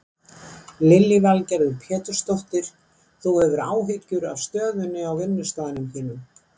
Lillý Valgerður Pétursdóttir: Þú hefur áhyggjur af stöðunni á vinnustaðnum þínum?